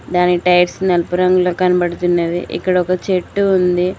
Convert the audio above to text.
దాని టైర్స్ నలుపు రంగులో కనపడ్తున్నవి ఇక్కడొక చెట్టు ఉంది.